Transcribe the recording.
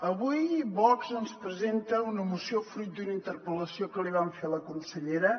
avui vox ens presenta una moció fruit d’una interpel·lació que li van fer a la consellera